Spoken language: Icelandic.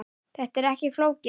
Þetta er ekki flókið